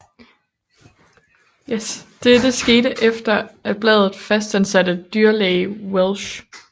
Dette skete efter at bladet fastansatte dyrlæge Welsch